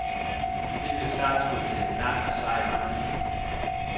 Det blev startskuddet til en lang og sej vandring.